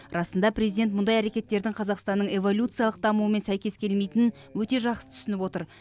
расында президент мұндай әрекеттердің қазақстанның эволюциялық дамуымен сәйкес келмейтінін өте жақсы түсініп отыр